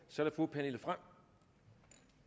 så er det fru pernille frahm